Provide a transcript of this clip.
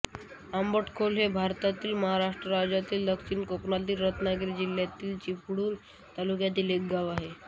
आंबटखोल हे भारतातील महाराष्ट्र राज्यातील दक्षिण कोकणातील रत्नागिरी जिल्ह्यातील चिपळूण तालुक्यातील एक गाव आहे